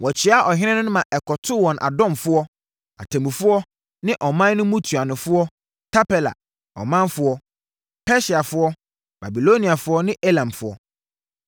Wɔkyeaa ɔhene no, ma ɛkɔtoo wɔn adɔmfoɔ, atemmufoɔ ne ɔman no mu ntuanofoɔ, Tarpela ɔmanfoɔ, Persiafoɔ, Babiloniafoɔ ne Elamfoɔ.